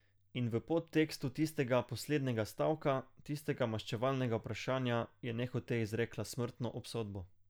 In v podtekstu tistega poslednjega stavka, tistega maščevalnega vprašanja, je nehote izrekla smrtno obsodbo.